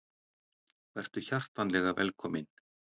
Vertu hjartanlega velkominn.